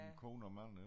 En kone og mand